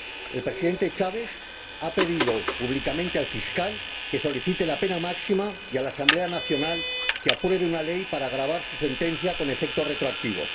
El Presidente Chávez ha pedido públicamente al fiscal que solicite la pena máxima y, a la Asamblea Nacional, que apruebe una ley para agravar su sentencia con efecto retroactivo.